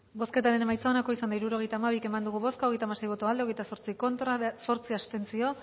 bozketaren emaitza onako izan da hirurogeita hamabi eman dugu bozka hogeita hamasei boto aldekoa hogeita zortzi contra zortzi abstentzio